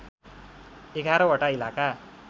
११ वटा इलाका